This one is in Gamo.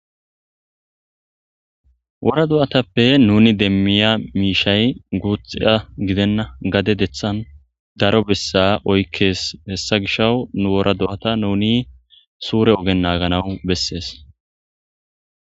wora do7atappe nuni demmiya miishay guuxxia gidenna gade dethan daro bessa oykkees hessa gisha nu wora do7ata nuni suure ogen naaganawu bessees